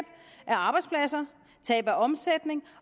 af arbejdspladser tab af omsætning